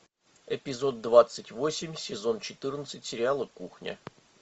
эпизод двадцать восемь сезон четырнадцать сериала кухня